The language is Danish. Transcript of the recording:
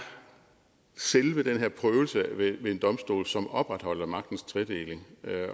selve den her prøvelse ved en domstol som opretholder magtens tredeling